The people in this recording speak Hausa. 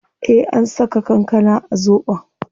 Eh an saka kankana a zobon